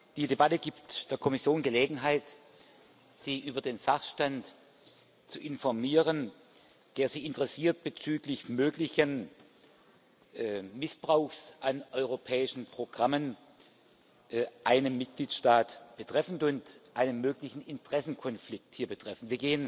Die Debatte gibt der Kommission Gelegenheit, Sie über den Sachstand zu informieren, der Sie interessiert bezüglich möglichen Missbrauchs an europäischen Programmen einen Mitgliedstaat betreffend und einen möglichen Interessenkonflikt hier betreffend.